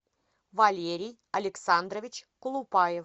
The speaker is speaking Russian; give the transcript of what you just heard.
валерий александрович колупаев